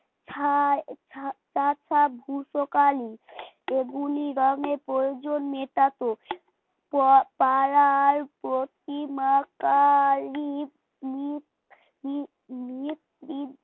ছা ছা তা ভুসাকালী এগুলো রঙের প্রয়োজন মেটাতো প পাড়ার প্রতিমা কালী